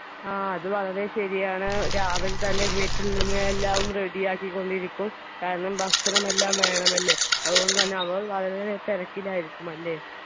ആ അത് വളരെ ശരിയാണ് രാവിലെതന്നെ വീട്ടിൽനിന്ന് എല്ലാം ready ആക്കി കൊണ്ടിരിക്കും കാരണം ഭക്ഷണം എല്ലാം വേണമല്ലോ അതുകൊണ്ട് തന്നെ അവർ വളരെ തിരക്കിലായിരിക്കും അല്ലേ